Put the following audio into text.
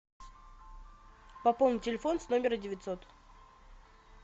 пополнить телефон с номера девятьсот